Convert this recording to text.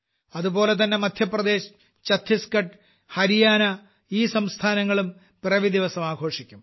ഇതുപോലെതന്നെ മദ്ധ്യപ്രദേശ് ഛത്തീസ്ഗഢ് ഹരിയാന ഈ സംസ്ഥാനങ്ങളും പിറവി ദിവസം ആഘോഷിക്കും